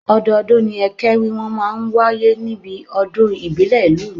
Ọdọọdún ni ẹkẹ wíwọ̀n máa ń wáyé níbi ọdún ìbílẹ̀ ìlú mi